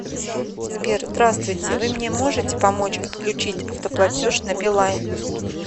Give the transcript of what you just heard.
сбер здравствуйте вы мне можете помочь отключить автоплатеж на билайн